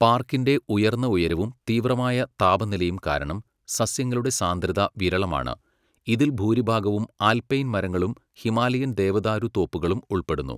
പാർക്കിൻ്റെ ഉയർന്ന ഉയരവും തീവ്രമായ താപനിലയും കാരണം, സസ്യങ്ങളുടെ സാന്ദ്രത വിരളമാണ്, ഇതിൽ ഭൂരിഭാഗവും ആൽപൈൻ മരങ്ങളും ഹിമാലയൻ ദേവദാരു തോപ്പുകളും ഉൾപ്പെടുന്നു.